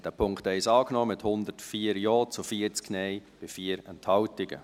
Sie haben den Punkt 1 angenommen, mit 104 Ja- zu 40 Nein-Stimmen bei 4 Enthaltungen.